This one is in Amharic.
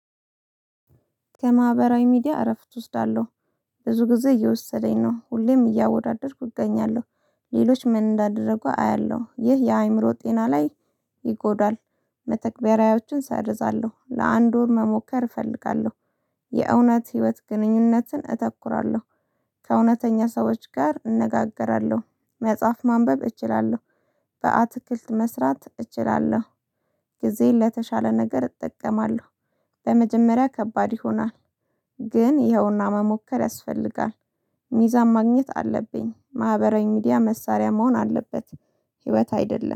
ከማህበራዊ ሚዲያ እረፍት እወስዳለሁ። ብዙ ጊዜ እየወሰደኝ ነው። ሁሌም እያወዳደርኩ እገኛለሁ። ሌሎች ምን እንዳደረጉ አያለሁ ይህ የአእምሮ ጤና ላይ ይጎዳል። መተግበሪያዎችን ሰርዛለሁ ለአንድ ወር መሞከር እፈልጋለሁ። የእውነት ህይወት ግንኙነትን እተኩራለሁ። ከእውነተኛ ሰዎች ጋር እነጋገራለሁ። መጽሐፍ ማንበብ እችላለሁ። በአትክልት መስራት እችላለሁ። ጊዜ ለተሻለ ነገር እጠቀማለሁ። በመጀመሪያ ከባድ ይሆናል። ግን ይኸውና መሞከር ያስፈልጋል። ሚዛን ማግኘት አለብኝ ማህበራዊ ሚዲያ መሳሪያ መሆን አለበት። ህይወት አይደለም